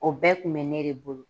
O bɛɛ tun bɛ ne de bolo